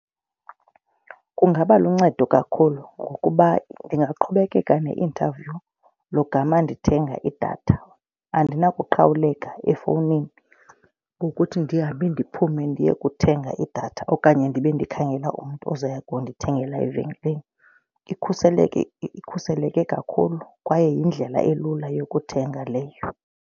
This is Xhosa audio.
Kungaba luncedo kakhulu ngokuba ndingaqhubekeka ne-interview logama ndithenga idatha. Andinakuqhawuleka efowunini ngokuthi ndihambe ndiphume ndiye kuthenga idatha okanye ndibe ndikhangela umntu ozoya kundithengela evenkileni. Ikhuseleke kakhulu kwaye yindlela elula yokuthenga leyo.